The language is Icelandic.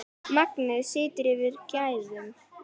Magnið situr fyrir gæðum.